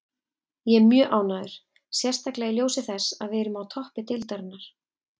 Ég er mjög ánægður, sérstaklega í ljósi þess að við erum á toppi deildarinnar.